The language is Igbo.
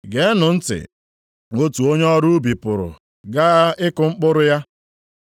“Geenụ ntị! Otu onye ọrụ ubi pụrụ gaa ịkụ mkpụrụ ya.